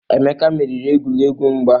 Emeka meriri egwuregwu mgba.